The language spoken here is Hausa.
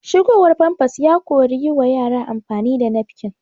Shigowar famfas ya kori yi wa yara amfani da nafkin